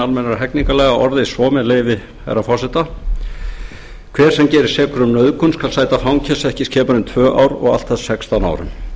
almennra hegningarlaga orðist svo með leyfi herra forseta hver sem gerist sekur um nauðgun skal sæta fangelsi ekki skemur en tvö ár og allt að sextán árum